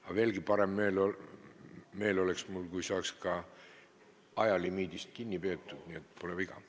Aga veelgi parem meel oleks mul, kui saaks ka ajalimiidist kinni peetud.